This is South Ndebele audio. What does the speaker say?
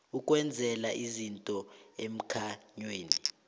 ukwenzela izinto emkhanyweni